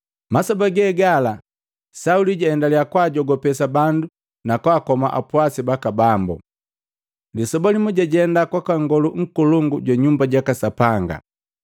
Masoba ge gala, Sauli jwaendalya kwaajogopesa bandu na kwaakoma apwasi baka Bambo. Lisoba limu jajenda kwaka Ngolu Nkolongu jwa Nyumba jaka Sapanga,